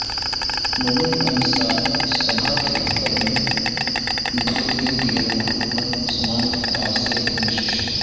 مومن انصار سبھا کے دفتر میں بریگیڈیئر محمد عثمان کی تعزیتی نشست